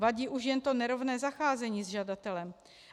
Vadí už jen to nerovné zacházení s žadatelem.